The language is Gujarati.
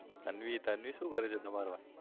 તન્વી, તન્વી શું કરે છે? તમારા wife